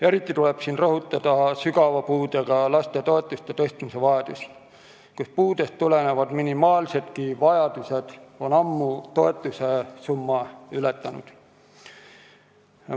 Eriti tuleb rõhutada sügava puudega laste toetuste tõstmise vajadust, sest puudest tulenevad minimaalsed vajadusedki on ammu suuremad, kui toetussumma võimaldab.